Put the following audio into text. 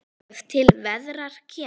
er til verðar kemur